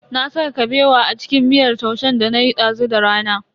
Na saka Kabewa a cikin miyar taushen danayi dazu da rana.